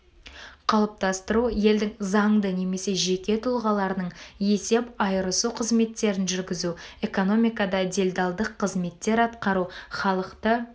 қалыптастыру елдің заңды немесе жеке тұлғаларының есеп айырысу қызметтерін жүргізу экономикада делдалдық қызметтер атқару халықты